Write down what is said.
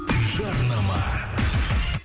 жарнама